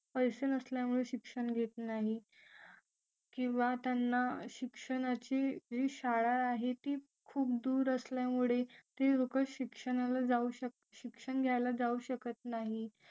पैसे नसल्यामुळे शिक्षण घेत नाही किंवा त्यांना शिक्षणाची जी शाळा आहे ती खूप दूर असल्यामुळे ती लोक शिक्षणाला शिक्षण घ्यायला जाऊ शकत नाही